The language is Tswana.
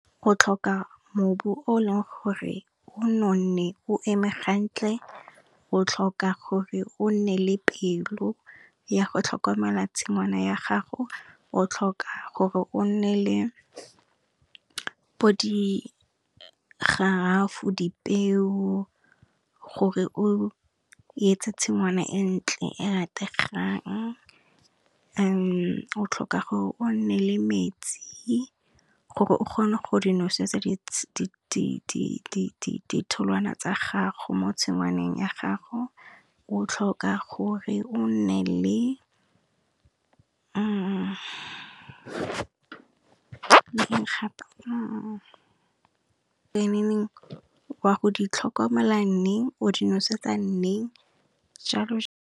Go tlhoka mobu o leng gore o nonne, o eme gantle, o tlhoka gore o nne le pelo ya go tlhokomela tshingwana ya gago, o tlhoka gore o nne le bo di garafo, dipeo gore o yetse tshingwana e ntle e rategang. O tlhoka gore o nne le metsi gore o kgone go di nosetsa ditholwana tsa gago mo tshingwaneng ya gago o tlhoka gore o nne le le eng gape wa go di tlhokomela neng, o di nosetsa neng jalo.